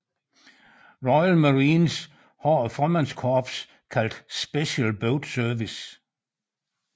Royal Marines har et frømandskorps kaldet Special Boat Service